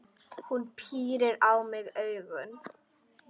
Hún pírir á mig augun.